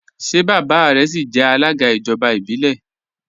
Ṣé baba rẹ síí jẹ alága ijọba ibilẹ?